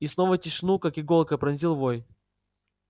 и снова тишину как иголкой пронзил вой